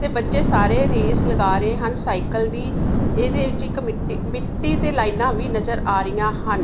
ਤੇ ਬੱਚੇ ਸਾਰੇ ਰੇਸ ਲਗਾ ਰਹੇ ਹਨ ਸਾਈਕਲ ਦੀ ਇਹਦੇ ਵਿੱਚ ਇੱਕ ਮਿੱਟੀ ਮਿੱਟੀ ਤੇ ਲਾਈਨਾਂ ਵੀ ਨਜਰ ਆ ਰਹੀਆਂ ਹਨ।